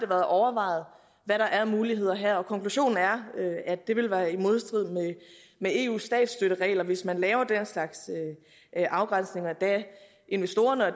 været overvejet hvad der er af muligheder her og konklusionen er at det vil være i modstrid med eus statsstøtteregler hvis man laver den slags afgrænsninger da investorerne